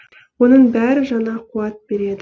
оның бәрі жаңа қуат береді